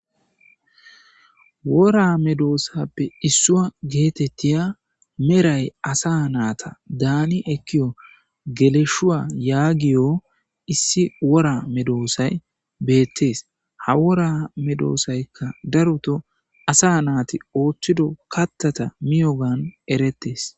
Wora medoosappe issua geetettiya meray asa naata daani ekkiyo geleshuwa yaagiyo issi wora medoosay beettees ha wora medoosaykka daruto asa naati ooththido kattata miyogan eretees.